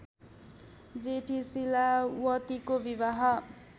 जेठी शीलावतीको विवाह